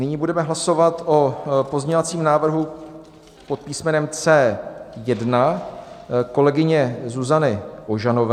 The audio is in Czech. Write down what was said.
Nyní budeme hlasovat o pozměňovacím návrhu pod písmenem C1 kolegyně Zuzany Ožanové.